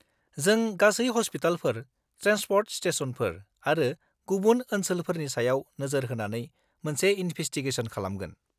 जों गासै हस्पिटालफोर, ट्रेन्सपर्ट स्टेसनफोर आरो गुबुन ओनसोलफोरनि सायाव नोजोर होनानै मोनसे इनभेस्टिगेशन खालामगोन।